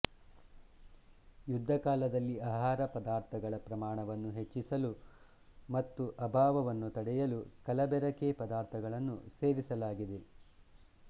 ಯುದ್ಧಕಾಲದಲ್ಲಿ ಆಹಾರ ಪದಾರ್ಥಗಳ ಪ್ರಮಾಣವನ್ನು ಹೆಚ್ಚಿಸಲು ಮತ್ತು ಅಭಾವವನ್ನು ತಡೆಯಲು ಕಲಬೆರಕೆ ಪದಾರ್ಥಗಳನ್ನು ಸೇರಿಸಲಾಗಿದೆ